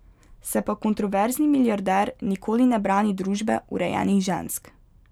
Se pa kontroverzni milijarder nikoli ne brani družbe urejenih žensk.